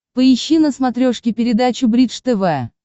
поищи на смотрешке передачу бридж тв